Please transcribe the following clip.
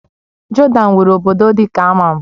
Jodan nwere obodo dị ka Amman